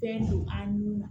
Fɛn don an nun na